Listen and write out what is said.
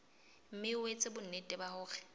mme o etse bonnete hore